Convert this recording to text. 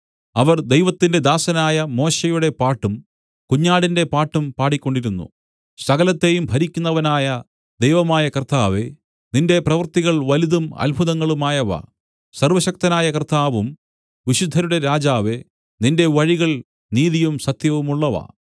അവർ ദൈവത്തിന്റെ ദാസനായ മോശെയുടെ പാട്ടും കുഞ്ഞാടിന്റെ പാട്ടും പാടിക്കൊണ്ടിരുന്നു സകലത്തെയും ഭരിക്കുന്നവനായ ദൈവമായ കർത്താവേ നിന്റെ പ്രവൃത്തികൾ വലുതും അത്ഭുതങ്ങളുമായവ സർവ്വശക്തനായ കർത്താവും വിശുദ്ധരുടെ രാജാവേ നിന്റെ വഴികൾ നീതിയും സത്യവുമുള്ളവ